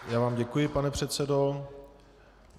Já vám děkuji, pane předsedo.